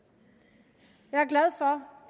jeg